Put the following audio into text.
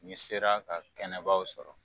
N'i sera ka kɛnɛbaw sɔrɔ